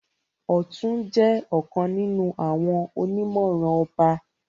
Ọtún jẹ ọkàn nínú àwọn onimọran ọba.